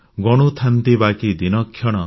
ଗଣୁଥାନ୍ତି ବାକି ଦିନକ୍ଷଣ